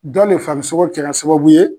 Dɔ le farisogo kɛra sababu ye.